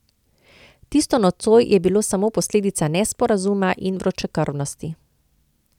Tisto nocoj je bilo samo posledica nesporazuma in vročekrvnosti.